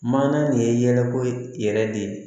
Mana nin ye yɛlɛko yɛrɛ de ye